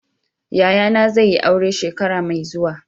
Yayana zai yi aure shekara mai zuwa.